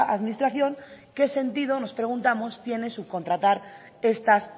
administración qué sentido nos preguntamos tiene subcontratar estas